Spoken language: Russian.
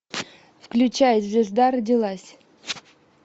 включай звезда родилась